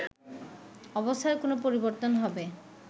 অবস্থার কোন পরিবর্তন হবে